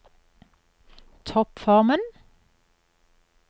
toppformen